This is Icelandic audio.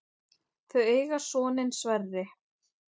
Þau eiga soninn Sverri.